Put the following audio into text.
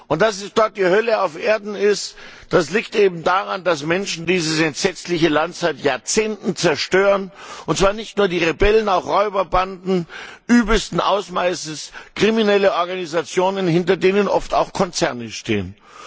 Und dass dort die Hölle auf Erden ist, liegt daran, dass Menschen dieses entsetzliche Land seit Jahrzehnten zerstören, und zwar nicht nur die Rebellen, sondern auch Räuberbanden übelsten Ausmaßes, kriminelle Organisationen, hinter denen oft auch Konzerne stehen.